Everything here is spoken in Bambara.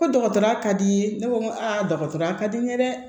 Ko dɔgɔtɔrɔya ka di ye ne ko n ko dɔgɔtɔrɔya ka di n ye dɛ